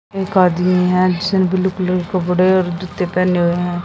एक आदमी है जिसने ब्लू कलर कपड़े और जूते पहने हुए हैं।